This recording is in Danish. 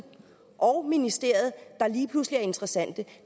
og ministeriet der lige pludselig er interessante